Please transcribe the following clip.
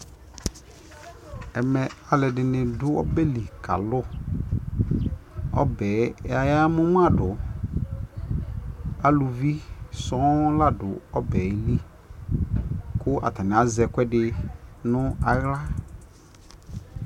ɛmɛ alʋɛdini dʋ ɔbɛli kalʋ, ɔbɛ ɔya mʋmadʋ, alʋvi sɔɔn ladʋ ɔbɛli kʋ atani azɛ ɛkʋɛdi nʋ ala